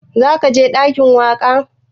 Za ka je ɗakin waƙa?